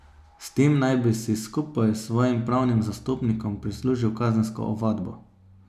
S tem naj bi si, skupaj s svojim pravnim zastopnikom, prislužil kazensko ovadbo.